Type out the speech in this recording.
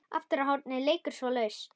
Aftara hornið leikur svo laust.